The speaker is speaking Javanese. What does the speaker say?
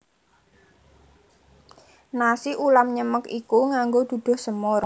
Nasi ulam nyemek iku nganggo duduh semur